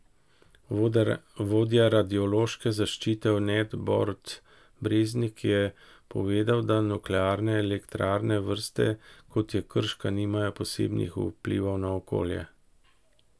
Vodja radiološke zaščite v Nek Borut Breznik je povedal, da nuklearne elektrarne vrste, kot je krška, nimajo posebnih vplivov na okolje.